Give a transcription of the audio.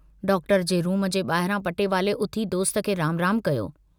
Doctor जे room जे बाहिरां पटेवाले उथी दोस्त खे राम राम कयो।